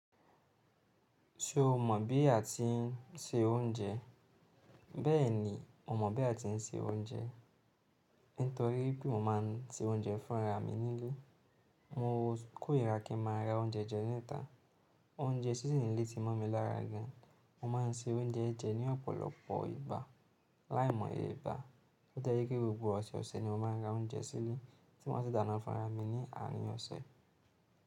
Ṣé o mọ̀ bí a ti ń se oúnjẹ? Bẹ́ẹ̀ni, mo mọ̀ bí a ti ń se oúnjẹ, nítorí pé mo máa ń se oúnjẹ fún ra mi nílé. Mo kórìíra kí n má a ra oúnjẹ jẹ níta. Oúnjẹ síse nilé ti mọ́ mi lára gan. Mo máa ń se oúnjẹ jẹ̀ ní ọ̀pọ̀lọpọ̀ ìgbà, láìmọ̀ye ìgbà. Ó tiẹ́ je pe gbogbo ọ̀sẹ̀ ọ̀sẹ̀ ni mo máa ra oúnjẹ sílé tí maa sì dáná fún'ra mi ní àárín ọ̀sẹ̀.